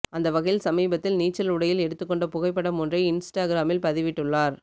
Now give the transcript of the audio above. அந்த வகையில் சமீபத்தில் நீச்சல் உடையில் எடுத்துக்கொண்ட புகைப்படம் ஒன்றை இன்ஸ்டாக்ராமில் பதிவிட்டுள்ளார்